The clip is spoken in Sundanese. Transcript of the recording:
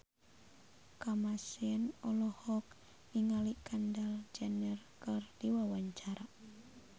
Kamasean olohok ningali Kendall Jenner keur diwawancara